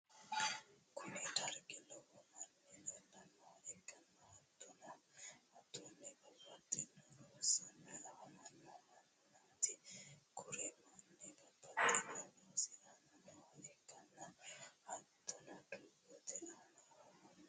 kuni dargi lowo manni leellanoha ikkanna hattonni babbaxino loosanni afamanno mannati. kuri manni babbaxino loosi aana nooha ikkanna hattonni doogote aana afammanno.